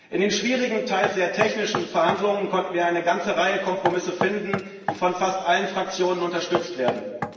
In den schwierigen, teilweise sehr technischen Verhandlungen konnten wir eine ganze Reihe Kompromisse finden, die von fast allen Fraktionen unterstützt werden.